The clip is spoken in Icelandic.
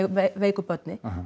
veiku börnin